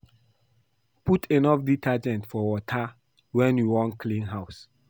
Put enough detergent for water wen you wan clean house